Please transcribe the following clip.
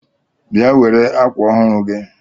Bịa were akwa ọhụụ gị!